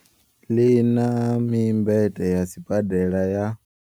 Ḽi na mimbete ya sibadela ya.